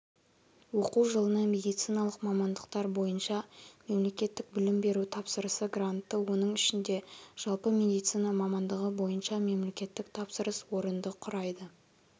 оқу жылына медициналық мамандықтар бойынша мемлекеттік білім беру тапсырысы грантты оның ішінде жалпы медицина мамандығы бойынша мемлекеттік тапсырыс орынды құрайды